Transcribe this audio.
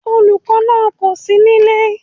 Olùkó náà kòsí nílé